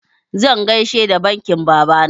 Zan gaishe da baƙin baba.